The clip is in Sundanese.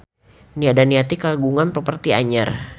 Nia Daniati kagungan properti anyar